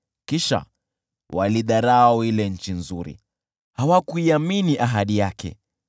Kisha waliidharau ile nchi nzuri, hawakuiamini ahadi yake.